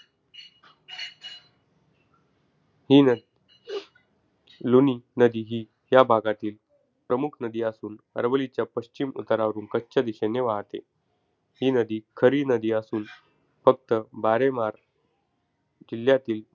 हि न, लुनी नदी, ही या भागातील प्रमुख नदी असून अरवलीच्या पश्चिम उतारावरून कच्छच्या दिशेने वाहते. ही नदी खरी नदी असून, फक्त बारेमार किल्ल्यातील,